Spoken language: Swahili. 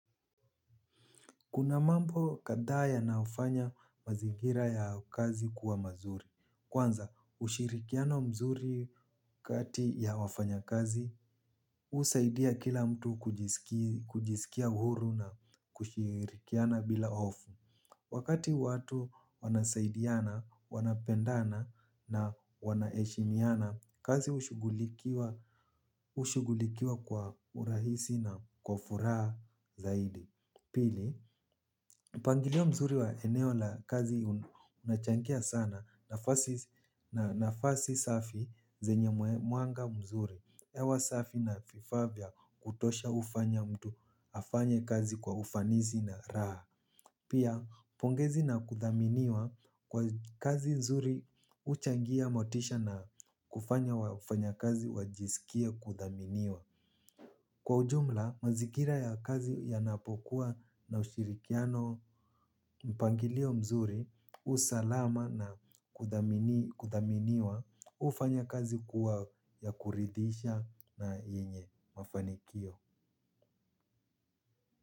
Kuna mambo kadhaa yanayofanya mazingira ya kazi kuwa mazuri. Kwanza, ushirikiano mzuri kati ya wafanyakazi, husaidia kila mtu kujisikia huru na kushirikiana bila hofu. Wakati watu wanasaidiana, wanapendana na wanaheshimiana, kazi hushugulikiwa kwa urahisi na kwa furaha zaidi. Pili, mpangilio mzuri wa eneo la kazi unachangia sana nafasi safi zenye mwanga mzuri. Hewa safi na vifaa vya kutosha hufanya mtu afanye kazi kwa ufanisi na raha. Pia, pongezi na kuthaminiwa kwa kazi mzuri huchangia motisha na kufanya wafanyakazi wajisikie kuthaminiwa. Kwa ujumla mazingira ya kazi ya napokuwa na ushirikiano mpangilio mzuri usalama na kuthaminiwa hufanya kazi kuwa ya kuridhisha na yenye mafanikio.